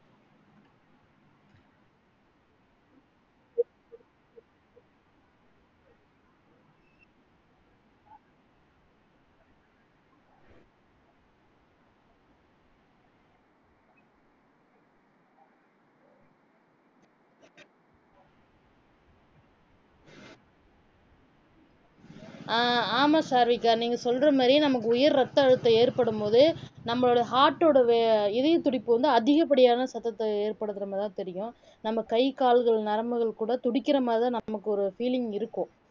ஆஹ் ஆமா சாருவிகா நீங்க சொல்ற மாதிரியே நமக்கு உயர் ரத்த அழுத்தம் ஏற்படும் போது நம்ம heart ஓட வே இதயத்துடிப்பு வந்து அதிகப்படியான சத்தத்தை ஏற்படுத்துற மாதிரிதான் தெரியும் நம்ம கை கால்கள் நரம்புகள் கூட துடிக்கிற மாதிரிதான் நமக்கு ஒரு feeling இருக்கும்